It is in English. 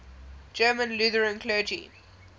german lutheran clergy